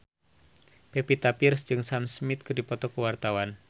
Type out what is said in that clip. Pevita Pearce jeung Sam Smith keur dipoto ku wartawan